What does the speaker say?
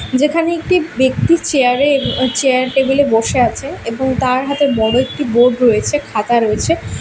যেখানে একটি ব্যক্তি চেয়ার -এ এব চেয়ার টেবিল -এ বসে আছে এবং তার হাতে বড়ো একটি বোর্ড রয়েছে খাতা রয়েছে।